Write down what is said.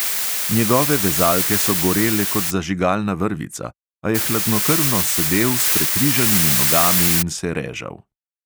Njegove vezalke so gorele kot zažigalna vrvica, a je hladnokrvno sedel s prekrižanimi nogami in se režal.